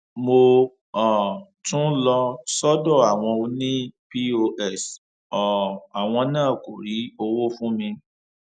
mo um tún lọ sọdọ àwọn ọnì pọs um àwọn náà kó rí owó fún mi